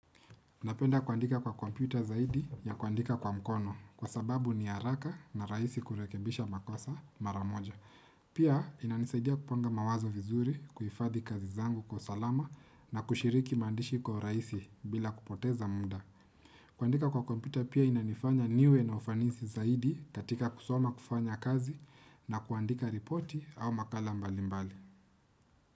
Napenda kuandika kwa kompyuta zaidi ya kuandika kwa mkono kwa sababu ni haraka na rahisi kurekebisha makosa mara moja. Pia inanisaidia kupanga mawazo vizuri kuhifadhi kazi zangu kwa usalama na kushiriki maandishi kwa urahisi bila kupoteza muda. Kuandika kwa kompyuta pia inanifanya niwe na ufanisi zaidi katika kusoma kufanya kazi na kuandika ripoti au makala mbali mbali.